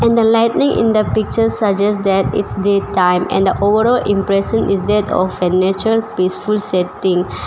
And the lightning in the picture suggests that it's daytime and the overall impression is that of a nature peaceful setting.